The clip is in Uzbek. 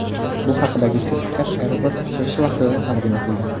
Bu haqidagi sertifikat aeroport ochilishi vaqtida taqdim etilgan.